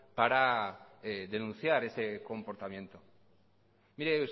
para denunciar ese comportamiento mire